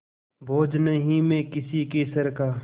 बोझ नहीं मैं किसी के सर का